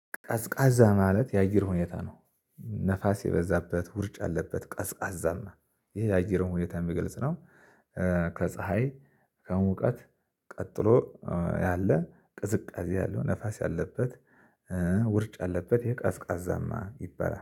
ቀዝቃዛ ማለት የአየር ሁኔታ ነው። ነፋስ የበዛበት ውርጭ አለበት ቀዝቃዛማ ይሄ የአየር ሁኔታ የሚገልጽ ነው። ከፀሀይ ከሙቀት ቀጥሎ ያለ ቅዝቃዜ ያለው ነፋስ ያለበት። ውርጭ ያለበት የቃዝቃዛማ ይበላ